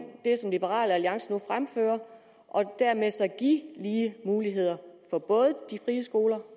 det som liberal alliance nu fremfører og dermed så give lige muligheder for både de frie skoler